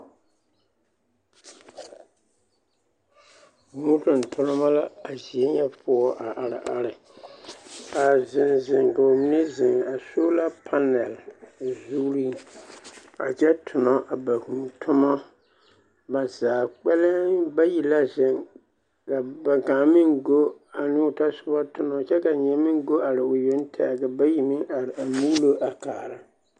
Hūū tontoneba la a zie nyɛ poɔ a are are, a zeŋ zeŋ, ka bamine zeŋ a sola panɛl zuriŋ a kyɛ tonɔ a ba hūū tomɔ, ba zaa kpɛlɛm bayi la zeŋ ka kaŋ meŋ go ane o tɔsoba tonɔ kyɛ ka nyɛ meŋ go are o yoŋ tɛgɛ ka bayi meŋ a are a muulo kaara.